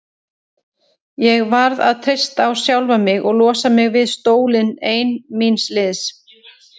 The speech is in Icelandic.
Ég varð að treysta á sjálfa mig og losa mig við stólinn ein míns liðs.